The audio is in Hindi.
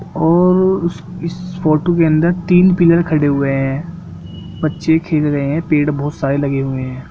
और उस-इस फोटो के अंदर तीन पिलर खड़े हुए है बच्चे खेल रहे है पेड़ बहुत सारे लगे हुए है।